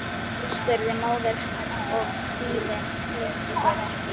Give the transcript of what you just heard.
spurði móðir hennar og kvíðinn leyndi sér ekki.